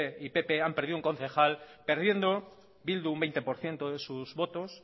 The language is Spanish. y pp han perdido un concejal perdiendo bildu un veinte por ciento de sus votos